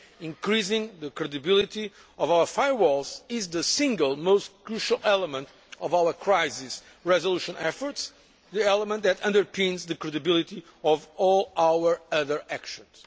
Increasing the credibility of our firewalls is the single most crucial element of our crisis resolution efforts the element that underpins the credibility of all our other actions.